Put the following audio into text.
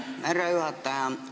Aitäh, härra juhataja!